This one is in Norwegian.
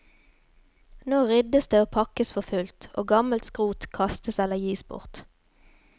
Nå ryddes det og pakkes for fullt, og gammelt skrot kastes eller gis bort.